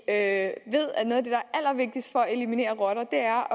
at eliminere rotter er